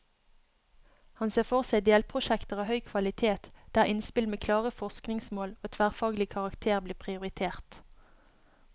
Han ser for seg delprosjekter av høy kvalitet, der innspill med klare forskningsmål og tverrfaglig karakter blir prioritert.